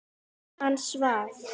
Hann svaf.